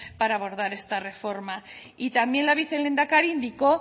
para abordar esta reforma y también la vicelehendakari indicó